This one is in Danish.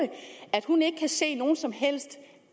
at hun ikke kan se nogen som helst